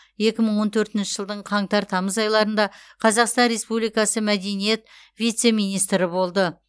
екі мың он төртінші жылдың қаңтар тамыз айларында қазақстан республикасы мәдениет вице министрі болды